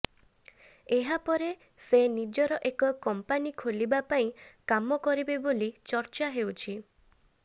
ଏହା ପରେ ସେ ନିଜର ଏକ କଂପାନି ଖୋଲିବା ପାଇଁ କାମ କରିବେ ବୋଲି ଚର୍ଚା ହେଉଛି